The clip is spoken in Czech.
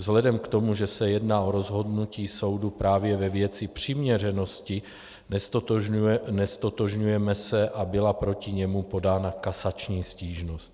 Vzhledem k tomu, že se jedná o rozhodnutí soudu právě ve věci přiměřenosti, neztotožňujeme se a byla proti němu podána kasační stížnost.